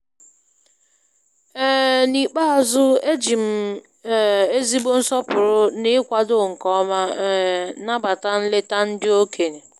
um N'ikpeazụ, e ji um ezigbo nsọpụrụ na ịkwado nke ọma um nabata nleta ndị okenye.